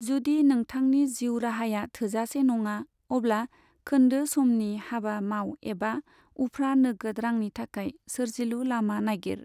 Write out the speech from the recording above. जुदि नोंथांनि जिउ राहाया थोजासे नङा, अब्ला खोन्दो समनि हाबा माव एबा उफ्रा नोगोद रांनि थाखाय सोर्जिलु लामा नागिर।